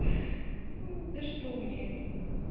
за что мне это